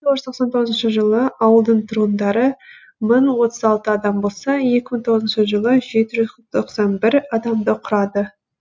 тоғыз жүз тоқсан тоғызыншы жылы ауылдың тұрғындары мың отыз алты адам болса екі мың тоғызыншы жылы жеті жүз тоқсан бір адамды құрады